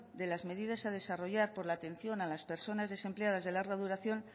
de las medidas a desarrollar por la atención a las personas desempleadas de larga duración